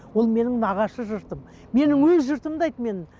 ол менің нағашы жұртым менің өз жұртымды айт менің